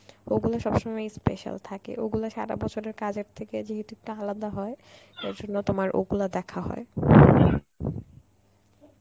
ওগুলো সবসময়ই special থাকে, ওগুলা সারা বছরের কাজের থেকে যেহুত একটু আলাদা হয় তার জন্য তোমার ওগুলা দেখা হয়.